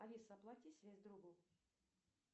алиса оплати связь другу